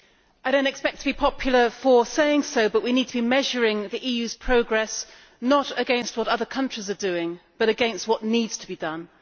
I do not expect to be popular for saying so, but we need to be measuring the EU's progress not against what other countries are doing, but against what needs to be done.